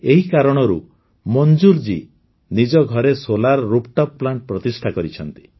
ଏହି କାରଣରୁ ମଞ୍ଜୁର ଜୀ ନିଜ ଘରେ ସୋଲାର୍ ରୁଫ୍ଟପ୍ ପ୍ଲାଂଟ୍ ପ୍ରତିଷ୍ଠା କରିଛନ୍ତି